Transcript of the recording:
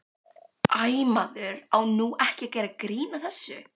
Æ, maður á nú ekki að gera grín að þessu.